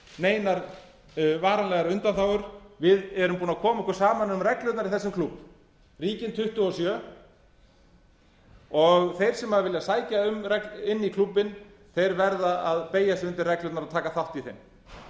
neinar varanlegar undanþágur við erum búin að koma okkur saman um reglurnar í þessum klúbb ríkin tuttugu og sjö og þeir sem vilja sækja um inn í klúbbinn verða að beygja sig undir reglurnar og taka þátt í